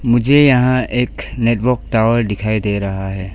मुझे यहां एक नेटवर्क टावर दिखाई दे रहा है।